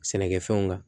Sɛnɛkɛfɛnw kan